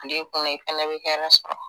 A don i kunna i fɛnɛ bɛ hɛrɛ sɔrɔ.